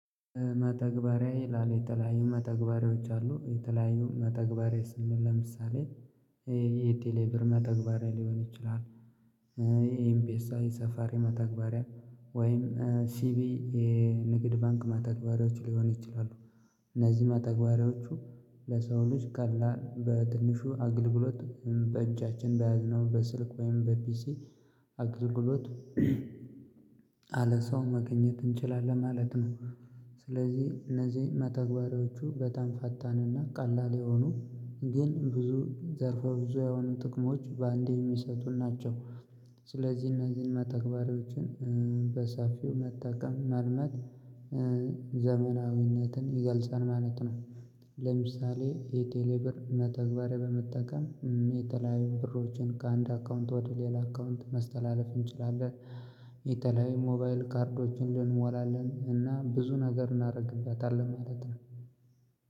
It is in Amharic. መተግበሪያዬ ይላለው የተለያዩ መተግበሪያዎች አሉ የተለያዩ መተግበሪያዬ ስል ለምሳሌ ይሄ የቴሌብር መተግበሪያ ሊሆን ይችላል። ይሄ ኤምፒኤስአይ ሰፋሪ መተግበሪያ ወይም ሲቢ የንግድ ባንክ ማተግባሪያዎች ሊሆኑ ይችላሉ። እነዚህ ማተግባሪያዎቹ ለሰው ልጅ ቀላል በትንሹ አግልግሎት በእጃችን በያዝነው በስልክ ወይም በፒሲ አገልግሎት አለ ሰው መገኘት እንችላለን ማለት ነው። ስለዚህ እነዚህ መተግበሪያዎቹ በጣም ፈታንና ቀላል የሆኑ ግን ብዙ ዘርፈ ብዙ የሆኑ ጥቅሞች በአንዴ የሚሰጡን ናቸው። ስለዚህ እነዚህን መተግበሪያዎችን በሰፊው መጠቀም መልመድ ዘመናዊነትን ይገልጻል ማለት ነው። ለምሳሌ የቴሌ ብር መተግበሪያ በመጠቀም የተለያዩ ብሮችን ከአንድ አካውንት ወደ ሌላ አካውንት ማስተላለፍ እንችላለን። የተለያዩ ሞባይል ካርዶችን እንሞላለን እና ብዙ ነገር እናደርግበታለን ማለት ነው።